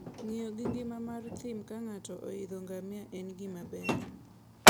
Ng'iyo gi ngima mar thim ka ng'ato oidho ngamia en gima ber.